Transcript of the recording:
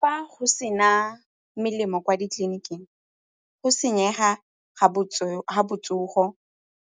Fa go sena melemo kwa ditleliniking, go senyega ga botsogo,